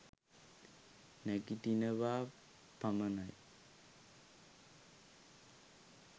නැගිටිනවා පමණයි.